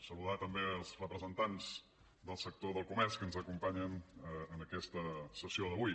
saludar també els representants del sector del comerç que ens acompanyen en aquesta sessió d’avui